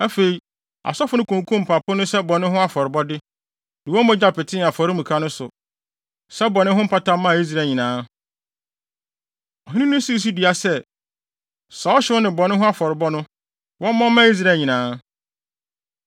Afei, asɔfo no kunkum mpapo no sɛ bɔne ho afɔrebɔ, de wɔn mogya petee afɔremuka no so, sɛ bɔne ho mpata maa Israel nyinaa. Ɔhene no sii so dua sɛ, saa ɔhyew ne bɔne ho afɔrebɔ no, wɔmmɔ mma Israel nyinaa.